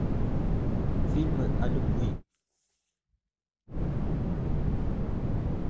фильмы о любви